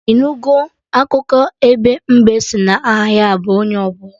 Ị nugo akụkọ ebe mbe sị na aha ya bụ 'onye ọbụla'?